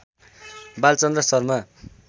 Balchandra Sharma